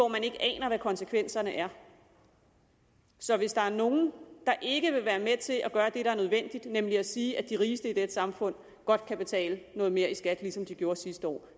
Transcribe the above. man ikke aner hvad konsekvenserne er af så hvis der er nogen der ikke vil være med til at gøre det der er nødvendigt nemlig at sige at de rigeste i dette samfund godt kan betale noget mere i skat ligesom de gjorde sidste år